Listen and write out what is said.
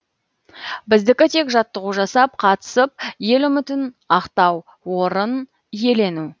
біздікі тек жаттығу жасап қатысып ел үмітін ақтау орын иелену